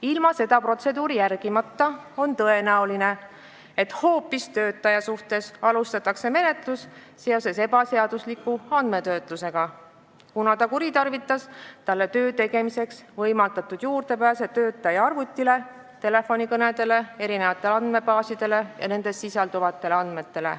Ilma seda protseduuri järgimata on tõenäoline, et hoopis töötaja suhtes alustatakse menetlust seoses ebaseadusliku andmetöötlusega, kuna ta kuritarvitas talle töö tegemiseks võimaldatud juurdepääsu arvutile, telefonikõnedele ning erinevatele andmebaasidele ja nendes sisalduvatele andmetele.